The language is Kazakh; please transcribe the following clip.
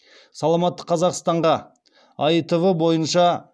саламатты қазақстанға аитв бойынша